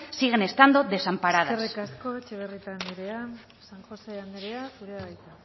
siguen estando desamparadas eskerrik asko etxebarrieta andrea san josé andrea zurea da hitza